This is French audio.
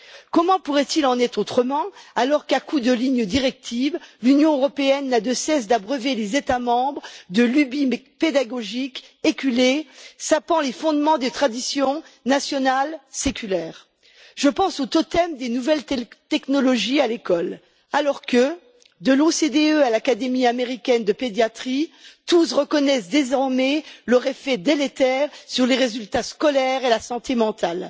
Comment pourrait il en être autrement alors qu'à coup de lignes directrices, l'Union européenne n'a de cesse d'abreuver les États membres de lubies pédagogiques éculées sapant les fondements des traditions nationales séculaires. Je pense au totem des nouvelles technologies à l'école, alors que, de l'OCDE à l'Académie américaine de pédiatrie, tous reconnaissent désormais leur effet délétère sur les résultats scolaires et la santé mentale.